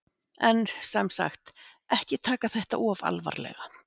En, sem sagt, ekki taka þetta of alvarlega!